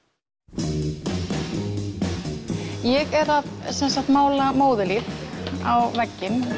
ég er að mála móðurlíf á vegginn